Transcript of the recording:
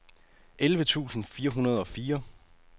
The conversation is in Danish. elleve tusind fire hundrede og fire